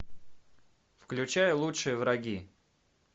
включай лучшие враги